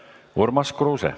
Urmas Kruuse.